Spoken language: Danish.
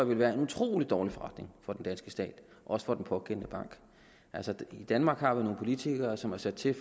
vil være en utrolig dårlig forretning for den danske stat og også for den pågældende bank altså i danmark har vi nogle politikere som er sat til